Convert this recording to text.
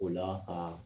O la aa